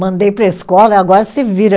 Mandei para a escola e agora se vira.